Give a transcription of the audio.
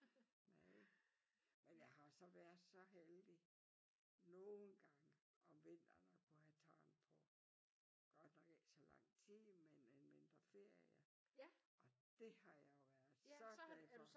Nej men jeg har så været så heldig nogen gange om vinteren at kunne have tan på godt nok ikke så lang tid men et par ferier og det har jeg jo været så glad for